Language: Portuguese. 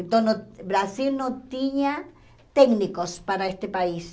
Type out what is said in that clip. Então, o Brasil não tinha técnicos para este país.